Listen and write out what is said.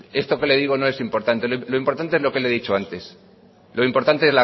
esto que le digo no es importante lo importante es lo que le he dicho antes lo importante